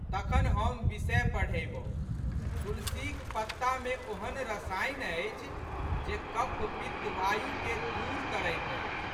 तखन हम विषय पढ़यबौ। तुलसीक पत्तामे ओहन रसायन अछि जे कफपित्तवायुके दूर करैत अछि।